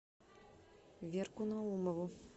верку наумову